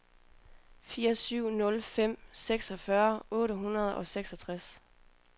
fire syv nul fem seksogfyrre otte hundrede og seksogtres